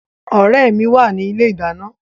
Ọ̀rẹ́ mi wà ní ilé ìdáná